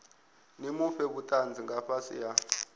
fhe vhutanzi nga fhasi ha